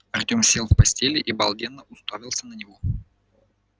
артём сел в постели и обалденно уставился на него